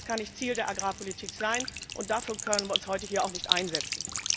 Das kann nicht Ziel der Agrarpolitik sein, und dafür können wir uns hier heute auch nicht einsetzen!